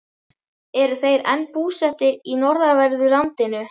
Eru þeir enn búsettir í norðanverðu landinu.